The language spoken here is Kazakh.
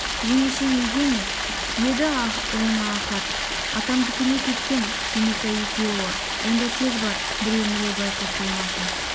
жеңешең үйде ме еді жаңа ахат атамдікіне кеткен түйметай екеуі онда тез бар біреу-міреу байқап қоймасын